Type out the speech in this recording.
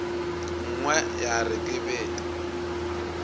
nngwe ya re ke bete